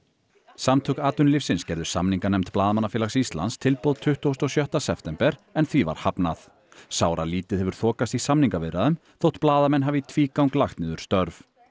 samtök atvinnulífsins gerðu samninganefnd Blaðamannafélags Íslands tilboð tuttugasta og sjötta september en því var hafnað sáralítið hefur þokast í samningaviðræðum þótt blaðamenn hafi í tvígang lagt niður störf